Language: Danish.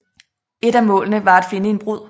Et af målene var at finde en brud